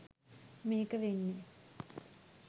මේක වෙන්නේ